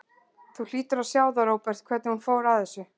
Þú hlýtur að sjá það, Róbert, hvernig hún fór að þessu.